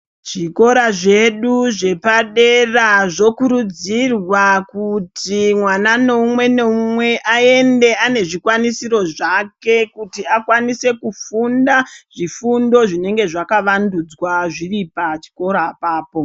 Zvikora zvedu zve padera zvo kurudzirwa kuti mwana no umwe ne umwe aende ane zvi kwanisiro zvake kuti akwanise kufunda zvifundo zvinenge zvaka vanduzwa zviri pa chikora apapo.